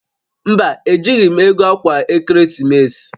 Mba, ejighi m ego akwa ekeresimesi